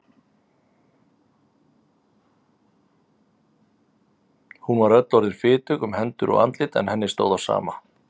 Hún var öll orðin fitug um hendur og andlit en henni stóð á sama.